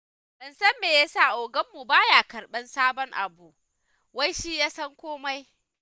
Ban san me ya sa oganmu ba ya karɓar sabon abu, wai shi ya san komai.